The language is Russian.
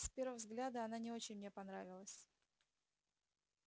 с первого взгляда она не очень мне понравилась